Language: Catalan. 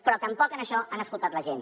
però tampoc en això han escoltat la gent